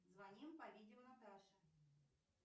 звоним по видео наташе